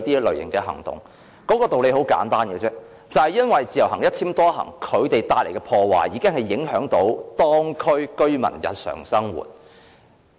理由十分簡單，就是因為自由行和"一簽多行"帶來的破壞，已經影響到當區居民的日常生活。